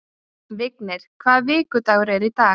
Vignir, hvaða vikudagur er í dag?